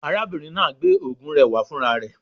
Arábìnrin náà gbé ògùn rẹ wá fún ra rẹ